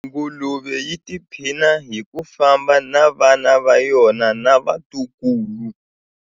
Nguluve yi tiphina hi ku famba na vana va yona na vatukulu.